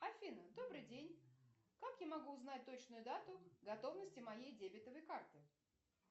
афина добрый день как я могу узнать точную дату готовности моей дебетовой карты